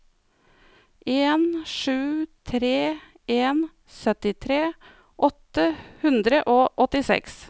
en sju tre en syttitre åtte hundre og åttiseks